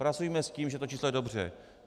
Pracujme s tím, že to číslo je dobře.